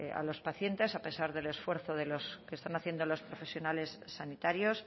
a los pacientes a pesar del esfuerzo que están haciendo los profesionales sanitarios